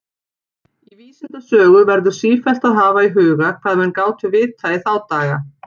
Í vísindasögu verður sífellt að hafa í huga, hvað menn gátu vitað í þá daga.